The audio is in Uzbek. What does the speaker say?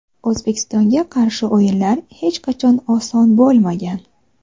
O‘zbekistonga qarshi o‘yinlar hech qachon oson bo‘lmagan.